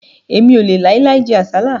Èmi ò lè láì láì jẹ àsálà